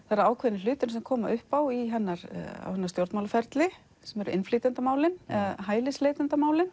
það eru ákveðnir hlutir sem koma upp á í hennar stjórnmálaferli sem eru innflytjendamálin eða